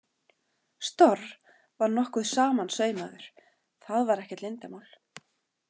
Storr var nokkuð samansaumaður, það var ekkert leyndarmál.